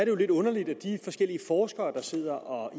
jo lidt underligt at de forskellige forskere der sidder og